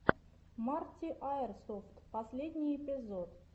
марти аирсофт последний эпизод